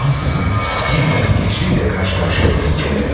Ansızın yenidən hiçliklə qarşı-qarşıya buldum kəndimi.